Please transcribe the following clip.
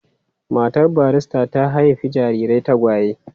Matar barista ta haifi jarirai tagwaye.